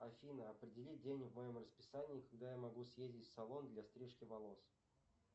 афина определи день в моем расписании когда я могу съездить в салон для стрижки волос